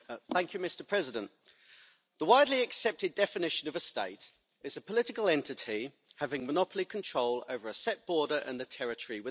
Mr President, the widely accepted definition of a state is a political entity having monopoly control over a set border and the territory within.